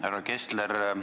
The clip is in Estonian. Härra Kessler!